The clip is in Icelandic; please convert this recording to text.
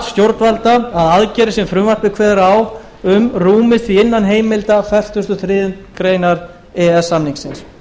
stjórnvalda að aðgerðir sem frumvarpið kveður á um rúmist því innan heimilda fertugasta og þriðju grein e e s samningsins